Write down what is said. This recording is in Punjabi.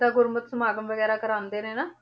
ਜਿੱਦਾਂ ਗੁਰਮਤ ਸਮਾਗਮ ਵਗ਼ੈਰਾ ਕਰਵਾਉਂਦੇ ਨੇ ਨਾ